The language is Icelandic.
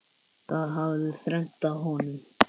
Það hafði þrengt að honum.